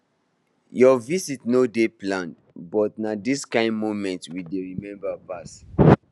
your visit no dey planned but na dis kind moments we dey remember pass